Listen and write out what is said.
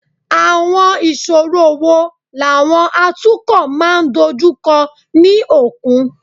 Àwọn ìṣòro wo làwọn atukọ̀ máa ń dojú kọ ní òkun?